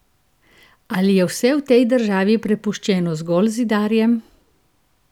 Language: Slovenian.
Ali je vse v tej državi prepuščeno zgolj zidarjem?